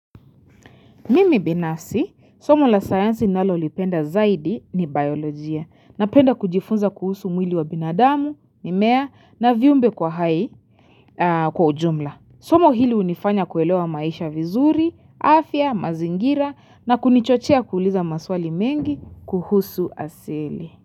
Mimi binafsi, somo la sayansi ninalolipenda zaidi ni biolojia na penda kujifunza kuhusu mwili wa binadamu, mimea na viumbe kwa hai kwa ujumla. Somo hili unifanya kuelewa maisha vizuri, afya, mazingira na kunichochea kuuliza maswali mengi kuhusu asili.